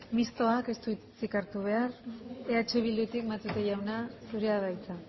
mistoak ez du hitzik hartu behar eh bildutik matute jauna zurea da hitza